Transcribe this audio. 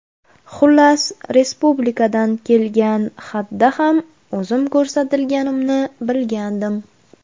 Xullas, respublikadan kelgan xatda ham o‘zim ko‘rsatilganimni bilgandim.